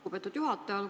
Lugupeetud juhataja!